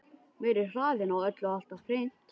Meiri hraðinn á öllu alltaf hreint.